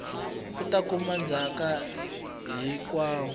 u ta kuma ndzhaka hinkwayo